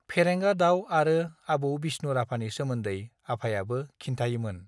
फेंरेगा दाव आरो आबौ बिष्णु राभानि सोमोन्दै आफायाबो खिन्थायोमोन